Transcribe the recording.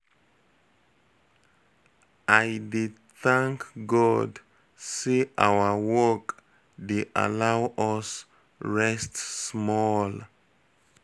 I dey thank God say our work dey allow us rest small.